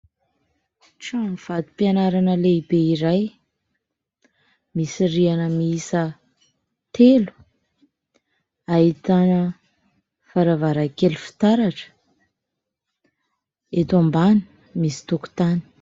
Trano vatom-pianarana lehibe iray misy rihana mihisa telo ahitana varavarakely fitaratra, eto am-bany misy tokotany.